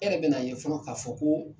E yɛrɛ bɛn'a ye fɔlɔ k'a fɔ ko